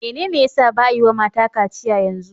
Menene ya sa ba'a yi wa mata kaciya yanzu?